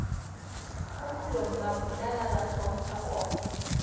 kgopolong mapulana ba hlompha koma